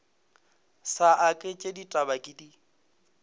sa aketše ditaba ke di